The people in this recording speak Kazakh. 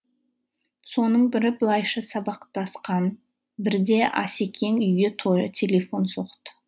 соның бірі былайша сабақтасқан бірде асекең үйге телефон соқты